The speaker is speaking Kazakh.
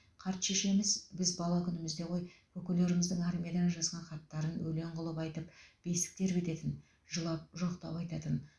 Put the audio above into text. қарт шешеміз біз бала күнімізде ғой көкелеріміздің армиядан жазған хаттарын өлең қылып айтып бесік тербететін жылап жоқтау айтатын